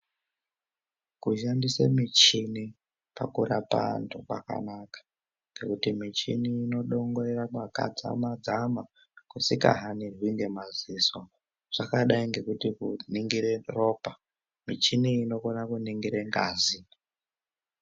Kushandisa michini pakurapa antu kwakanaka nekuti michini inodongorere paka dzama dzama kusika hanirwi nemaziso zvakadai ngekuti kuringire ropa, michini inokone kuningire ngazi.